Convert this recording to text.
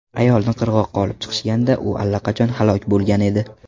Ayolni qirg‘oqqa olib chiqishganda, u allaqachon halok bo‘lgan edi.